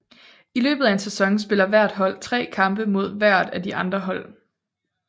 I løbet af en sæson spiller hvert hold tre kampe mod hvert af de andre hold